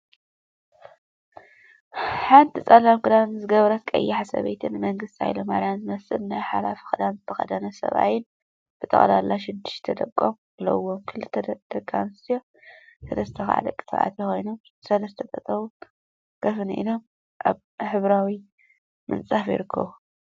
ሓንቲ ፀሊም ክዳንን ዝገበረት ቀያሕ ሰበይቲን ንመንግስቲ ሃይለማርያም ዝመስል ናይ ሓላፊ ክዳን ዝተከደነ ሰብአይን ብጠቅላላ ሽዱሽተ ደቆም አለዉዎም። ክልተ ደቂ አንስትዮ ሰለስተ ከዓ ደቂ ተባዕትዮን ኮይኖም፤ ሰስለስተ ጠጠውን ኮፍን ኢሎም አብ ሕብራዊ ምንፃፍ ይርከቡ።